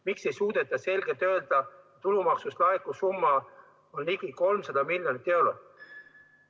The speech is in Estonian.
Miks ei suudeta selgelt öelda, et tulumaksust laekuv summa on ligi 300 miljonit eurot?